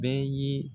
Bɛɛ ye